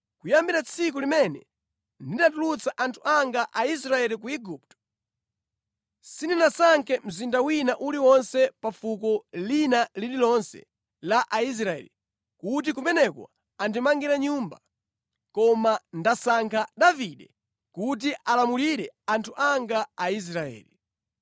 ‘Kuyambira tsiku limene ndinatulutsa anthu anga Aisraeli ku Igupto, sindinasankhe mzinda wina uliwonse pa fuko lina lililonse la Aisraeli kuti kumeneko andimangire Nyumba, koma ndasankha Davide kuti alamulire anthu anga Aisraeli.’